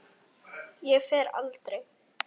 Ég fer aldrei.